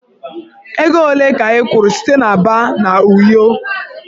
Ego ole ka ị kwụrụ site Aba na Uyo?